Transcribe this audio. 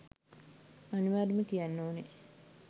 අනිවාර්යයෙන්ම තියන්න ඕන